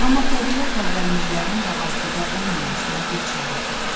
Amma təbiət əvvəlcilərin də asudə olmamasına bir çarə tapmış.